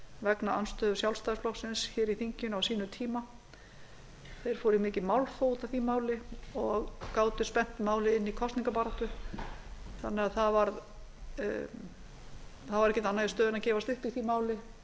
vegna andstöðu sjálfstæðisflokksins í þinginu á sínum tíma þeir fóru í mikið málþóf út af því máli og gátu spennt málið inn í kosningabaráttu þannig að það var ekkert annað í stöðunni en að gefast upp í því